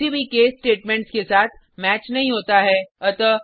यह किसी भी केस स्टेटमेंटेस के साथ मैच नहीं होता है